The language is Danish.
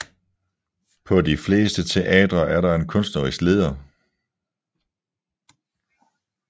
På de fleste teatre er der en kunstnerisk leder